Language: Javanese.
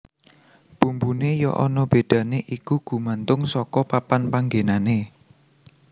Bumbuné ya ana bedané iku gumantung saka papan panggenané